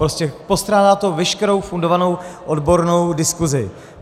Prostě postrádá to veškerou fundovanou odbornou diskuzi.